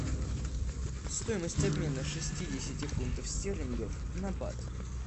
стоимость обмена шестидесяти фунтов стерлингов на бат